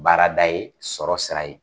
Baarada ye, sɔrɔ sira ye.